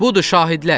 Budur şahidlər.